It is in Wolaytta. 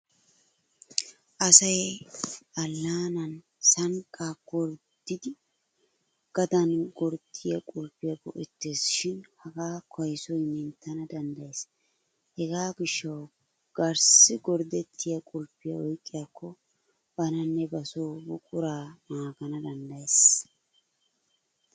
Asay allaanan sanqqaa gorddidi gadan gorddiyo qulfiya go'ettes shin hagaa kaysoy menttana danddayes. Hegaa gishshawu garssi gorddettiya qulfiya oyqqiyaakko bananne ba so buquraa naagana danddayes.